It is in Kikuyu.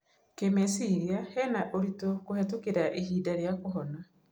Kĩmeciria, hena ũritu kũhetũkĩra ihinda rĩa kũhona.